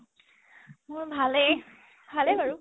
মোৰ ভালেই ভালে বাৰু